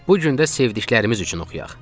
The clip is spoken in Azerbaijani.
Bu gün də sevdiklərimiz üçün oxuyaq.